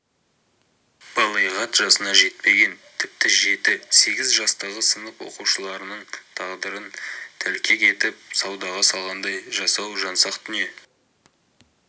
балиғат жасына жетпеген тіпті жеті-сегіз жастағы сынып оқушыларының тағдырын тәлкек етіп саудаға салғандай жасау жансақ дүние